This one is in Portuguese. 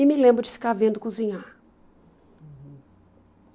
E me lembro de ficar vendo cozinhar.